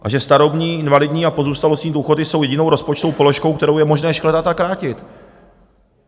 A že starobní, invalidní a pozůstalostní důchody jsou jedinou rozpočtovou položkou, kterou je možné škrtat a krátit.